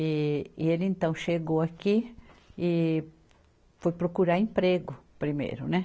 E, e ele, então, chegou aqui e foi procurar emprego primeiro, né?